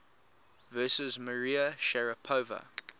versus maria sharapova